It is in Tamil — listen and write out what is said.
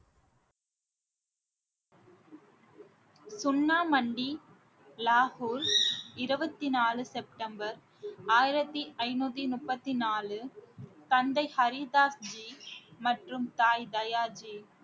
சுண்ணாமண்டி லாஹூர் இருபத்தி நாலு செப்டம்பர் ஆயிரத்தி ஐந்நூத்தி முப்பத்தி நாலு தந்தை ஹரி தாஸ்ஜி மற்றும் தாய் தயாஜி